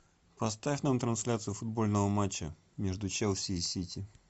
поставь нам трансляцию футбольного матча между челси и сити